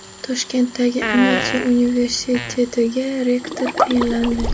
Toshkentdagi Amiti universitetiga rektor tayinlandi.